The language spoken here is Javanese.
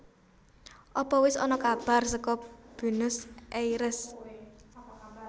Apa wes ana kabar soko Buenos Aires?